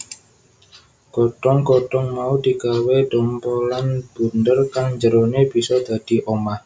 Godhong godhong mau digawé dhompolan bunder kang njerone bisa dadi omah